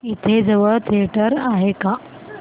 इथे जवळ थिएटर आहे का